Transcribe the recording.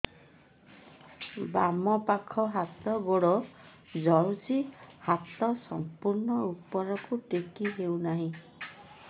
ବାମପାଖ ହାତ ଗୋଡ଼ ଜଳୁଛି ହାତ ସଂପୂର୍ଣ୍ଣ ଉପରକୁ ଟେକି ହେଉନାହିଁ